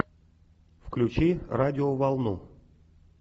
включи радиоволну